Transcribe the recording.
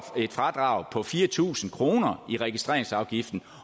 et fradrag på fire tusind kroner i registreringsafgiften